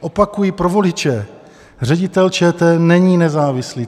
Opakuji pro voliče: Ředitel ČT není nezávislý.